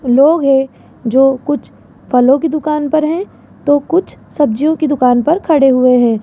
लोग हैं जो कुछ फलों की दुकान पर हैं तो कुछ सब्जियों की दुकान पर खड़े हुए हैं।